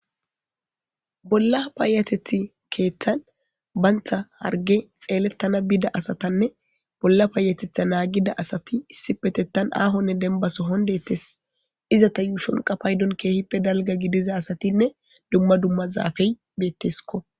Bolla paayatethi keeththan bantha harge xeelettana biida asatanne bolla paayatetha naagida asati issi petettan aahonne denbaso hondettes izata yuushon qapaydon keehippe dalga gidiza asatinne dumma dumma zaafey betteskko